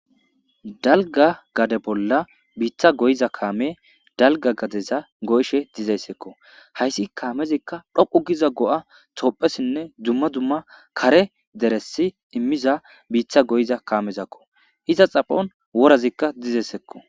Dalgga gade bolla biitha goyiza kaame dalgga gadeza goyishe dizeyssikko. Hayssi kaamezikka dhoqu giza go'a toophesinne dzumma dzumma kare deressi immiza biitha goyiza kaamezakko iza xaphon worazikka dzizesikko.